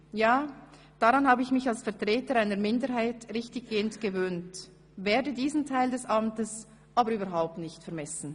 Ja, daran habe ich mich als Vertreter einer Minderheit richtiggehend gewöhnt, werde diesen Teil meines Amtes aber überhaupt nicht vermissen.